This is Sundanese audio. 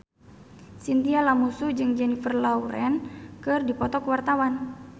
Chintya Lamusu jeung Jennifer Lawrence keur dipoto ku wartawan